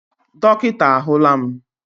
Dọkịta ahụla m.